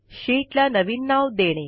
शीटला नवीन नाव देणे